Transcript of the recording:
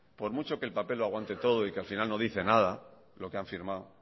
por mucho que el papel lo aguante todo y que al final no dice nada lo que han firmado